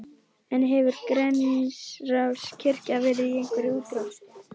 En hefur Grensáskirkja verið í einhverri útrás?